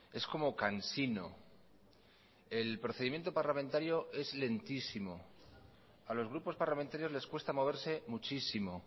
es como cansino el procedimiento parlamentario es lentísimo a los grupos parlamentarios les cuesta moverse muchísimo